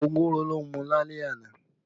Ogogoro ló mú lálẹ́ àná